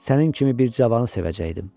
Sənin kimi bir cavanı sevəcəkdim.